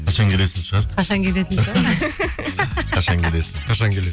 қашан келесің шығар қашан келетін шығар қашан келесің